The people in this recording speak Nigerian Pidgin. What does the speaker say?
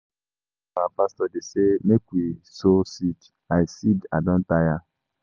Na everyday our pastor dey say make we sow seed, I don tire.